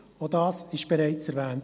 Auch das wurde bereits erwähnt.